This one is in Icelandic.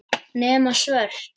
Nema svört.